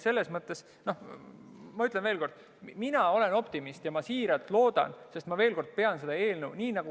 Selles mõttes ma ütlen veel kord: mina olen optimist ja ma pean selle eelnõu sisu heaks.